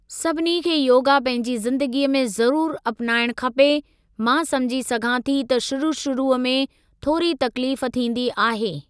सभिनी खे योगा पंहिंजी ज़िंदगीअ में ज़रूरु अपनाइणु खपे, मां समुझी सघां थी त शुरू शुरूअ में थोरी तकलीफ़ थींदी आहे।